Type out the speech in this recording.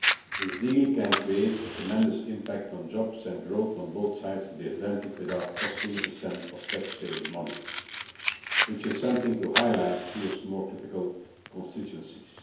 This deal could create a tremendous impact on jobs and growth on both sides of the Atlantic without costing a cent of taxpayers' money which is something to highlight in more critical constituencies.